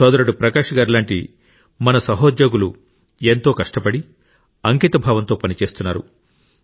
సోదరుడు ప్రకాశ్ గారి లాంటి మన సహోద్యోగులు ఎంతో కష్టపడి అంకితభావంతో పనిచేస్తున్నారు